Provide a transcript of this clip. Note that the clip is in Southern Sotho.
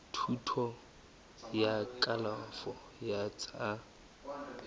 thuto ya kalafo ya tsa